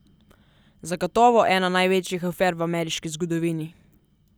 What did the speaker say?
Zagotovo ena največjih afer v ameriški zgodovini.